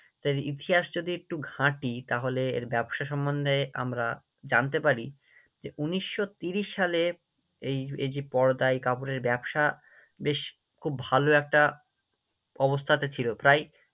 তার ইতিহাস যদি একটু ঘাঁটি তাহলে এর ব্যবসা সম্মন্ধে আমরা জানতে পার, যে উনিশশো তিরিশ সালে এই এই যে পর্দা কাপড়ের ব্যবসা বেশ খুব ভালো একটা অবস্থাতে ছিল প্রায়